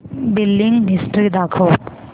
billing history दाखव